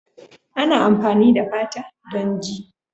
Ana amfani da fata don ji.